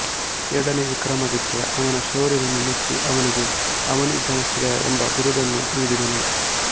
ಎರಡನೇ ವಿಕ್ರಮಾದಿತ್ಯ ಅವನ ಶೌರ್ಯವನ್ನು ಮೆಚ್ಚಿ ಅವನಿಗೆ ಅವನಿಜನಶ್ರಯ ಎಂಬ ಬಿರುದನ್ನು ನೀಡಿದನು